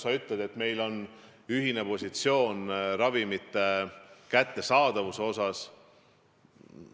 Sa ütlesid, et meil on ühine positsioon ravimite kättesaadavuse asjus.